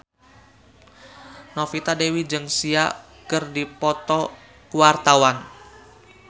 Novita Dewi jeung Sia keur dipoto ku wartawan